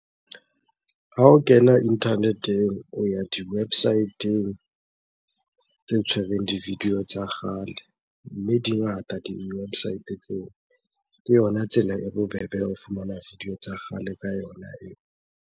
Ha o kena internet-eng o ya di-website-eng tse tshwereng di-video tsa kgale, mme di ngata di-website tseo. Ke yona tsela e bobebe ya ho fumana video tsa kgale ka yona eo.